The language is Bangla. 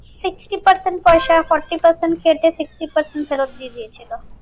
Sixty percent পয়সা forty percent কেটে sixty percent ফেরত দিয়ে দিয়েছিলো।